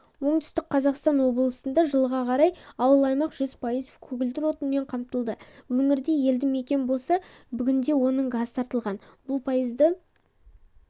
оңтүстік қазақстан облысында жылға қарай ауыл-аймақ жүз пайыз көгілдір отынмен қамтылады өңірде елді мекен болса бүгінде оның газ тартылған бұл пайызды